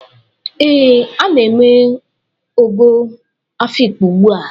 Ee, a na-eme ogo Afikpo ugbua.